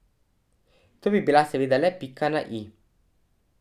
To bi bila seveda le pika na i.